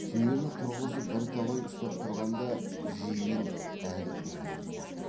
түйені тұрғызып бірталай ұстап тұрғанда жиын әлі үн қатпады